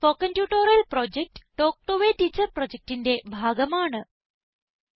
spoken tutorial project talk to a teacher പ്രൊജക്റ്റിന്റെ ഭാഗമാണ്